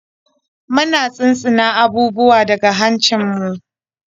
Muna shinshina abubuwa da hancinmu.